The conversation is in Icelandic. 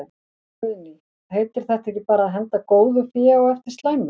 Guðný: Heitir þetta ekki bara að henda góðu fé á eftir slæmu?